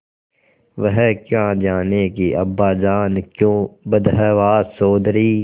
वह क्या जानें कि अब्बाजान क्यों बदहवास चौधरी